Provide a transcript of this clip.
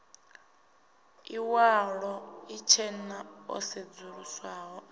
iwalo itshena o sedzuluswaho a